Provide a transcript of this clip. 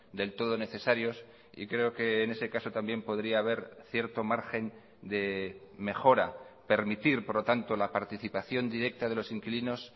del todo necesarios y creo que en ese caso también podría haber cierto margen de mejora permitir por lo tanto la participación directa de los inquilinos